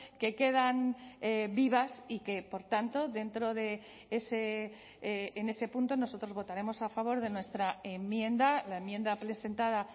que quedan vivas y que por tanto dentro de ese en ese punto nosotros votaremos a favor de nuestra enmienda la enmienda presentada